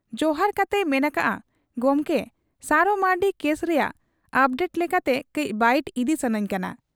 ᱡᱚᱦᱟᱨ ᱠᱟᱛᱮᱭ ᱢᱮᱱ ᱟᱠᱟᱜ ᱟ, 'ᱜᱚᱢᱠᱮ ᱥᱟᱨᱚ ᱢᱟᱺᱨᱰᱤ ᱠᱮᱥ ᱨᱮᱭᱟᱜ ᱚᱯᱰᱮᱴ ᱞᱮᱠᱟᱛᱮ ᱠᱟᱹᱡ ᱵᱟᱭᱤᱴ ᱤᱫᱤ ᱥᱟᱹᱱᱟᱹᱧ ᱠᱟᱱᱟ ᱾'